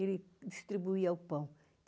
Ele distribuía o pão.